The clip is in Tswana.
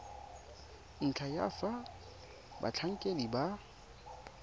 ntlha ya fa batlhankedi ba